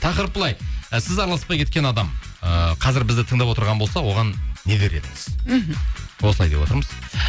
тақырып былай і сіз араласпай кеткен адам ыыы қазір бізді тыңдап отырған болса оған не дер едіңіз мхм осылай деп отырмыз